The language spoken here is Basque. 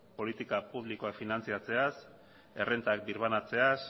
politika publikoak finantziatzeaz errenta birbanatzeaz